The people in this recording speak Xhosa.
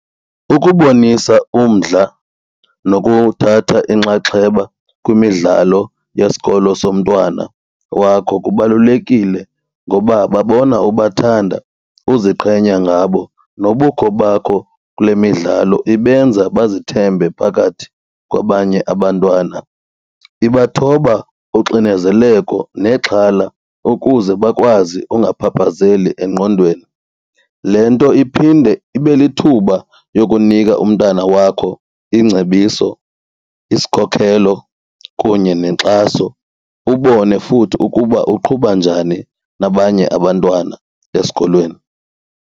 Ukubonisa umdla nokuthatha inxaxheba kwimidlalo yesikolo somntwana wakho kubalulekile ngoba babona ubathanda uziqhenye ngabo nobukho bakho kule midlalo ibenza bazithembe phakathi kwabanye abantwana, ibathoba uxinezeleko nexhala ukuze bakwazi ungaphaphazeli engqondweni. Le nto iphinde ibe lithuba yokunika umntana wakho ingcebiso isikhokhelo kunye nenkxaso, ubone futhi ukuba uqhuba njani nabanye abantwana esikolweni.